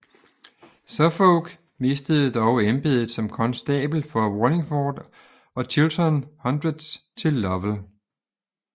Suffolk mistede dog embedet som konstabel for Wallingford og Chiltern Hundreds til Lovell